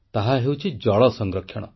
ତାହା ହେଉଛି ଜଳ ସଂରକ୍ଷଣ